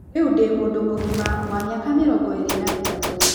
Rĩu ndĩ mũndũ mũgima wa mĩaka mĩrongo ĩĩrĩ na ĩtatũ.